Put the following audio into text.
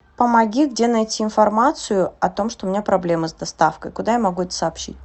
помоги где найти информацию о том что у меня проблемы с доставкой куда я могу это сообщить